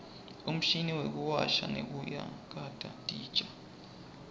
umshini wekuwasha nekuyakata titja